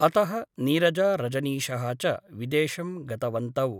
अतः नीरजा रजनीशः च विदेशं गतवन्तौ ।